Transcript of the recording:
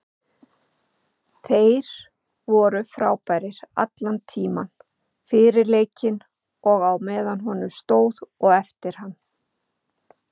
Þeir voru frábærir allan tímann, fyrir leikinn og á meðan honum stóð og eftir hann.